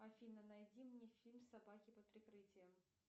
афина найди мне фильм собаки под прикрытием